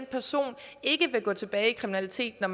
person ikke vil gå tilbage i kriminalitet når